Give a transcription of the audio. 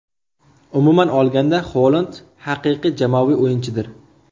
Umuman olganda, Holand haqiqiy jamoaviy o‘yinchidir.